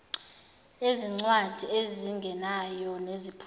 ezincwadi ezingenayo neziphumayo